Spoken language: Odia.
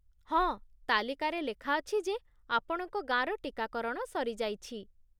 ହଁ, ତାଲିକାରେ ଲେଖାଅଛି ଯେ ଆପଣଙ୍କ ଗାଁର ଟିକାକରଣ ସରିଯାଇଛି।